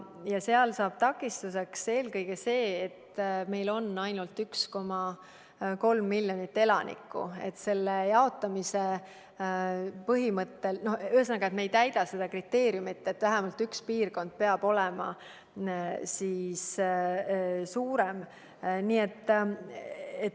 Seal saab takistuseks eelkõige see, et meil on ainult 1,3 miljonit elanikku ja kui lähtuda euroliidu raha jaotamise põhimõttest, siis me ei täida seda kriteeriumit, et vähemalt üks piirkond peab olema märksa suurem.